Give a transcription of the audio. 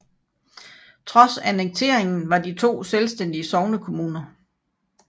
Trods annekteringen var de to selvstændige sognekommuner